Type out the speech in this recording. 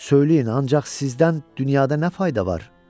Söyləyin ancaq sizdən dünyada nə fayda var?